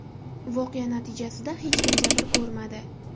Voqea natijasida hech kim jabr ko‘rmadi.